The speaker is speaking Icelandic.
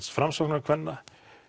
Framsóknarkvenna